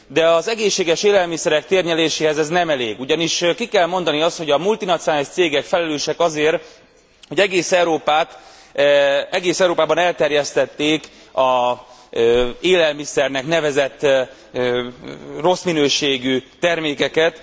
De az egészséges élelmiszerek térnyeréséhez ez nem elég, ugyanis ki kell mondani azt, hogy a multinacionális cégek felelősek azért, hogy egész Európában elterjesztették az élelmiszernek nevezett rossz minőségű termékeket.